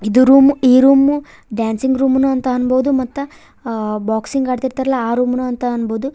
ಇದು ರೂಮ್ ಈ room dancing room ಅಂತಾನೂ ಅನ್ನಬಹುದು ಮತ್ತ ಬಾಕ್ಸಿಂಗ್ ಆಡ್ತಿರ್ತಾರಲ್ಲ ಆ ರೂಮ್ ಸಹ ಅನ್ಬೋದು.